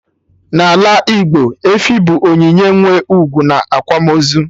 n'ala Igbo, efi bụ onyinye nwe ugwu na akwamaozu